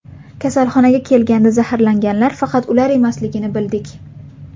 Kasalxonaga kelganda zaharlanganlar faqat ular emasligini bildik.